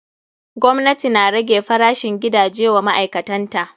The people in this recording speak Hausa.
Gwamnati na rage farashin gidaje wa ma'aikatan ta.